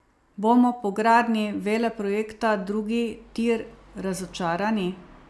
Bomo po gradnji veleprojekta drugi tir razočarani?